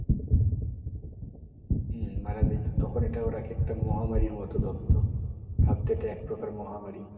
হম মারা যাইতো তখন এটা ওরা এক একটা মহামারীর মতো ধরতো ভাবতো এটা এক প্রকার মহামারী,